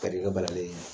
Karikɛ banaden